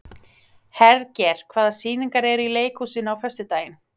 Hergeir, hvaða sýningar eru í leikhúsinu á föstudaginn?